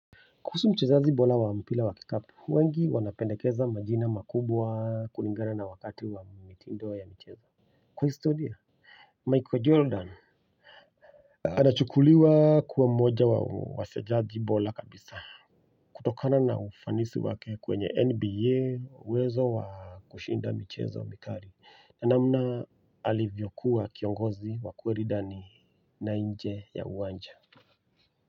Kuhusu mchezaji bola wa mpila wa kikapu wengi wanapendekeza majina makubwa kulingana na wakati wa mitindo ya michezo kwa historia Michael Jordan anachukuliwa kuwa mmoja wa wachezaji bola kabisa kutokana na ufanisi wake kwenye nba uwezo wa kushinda michezo mikari ya namna alivyokuwa kiongozi wa kweri ndani na nje ya uwanja.